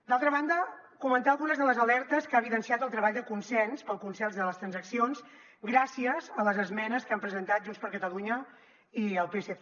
d’altra banda comentar algunes de les alertes que ha evidenciat el treball de consens pel consens de les transaccions gràcies a les esmenes que han presentat junts per catalunya i el psc